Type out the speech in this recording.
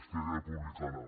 esquerra republicana